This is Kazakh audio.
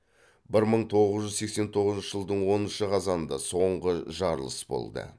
бір мың тоғыз жүз сексен тоғызыншы жылдың оныншы қазанында соңғы жарылыс болды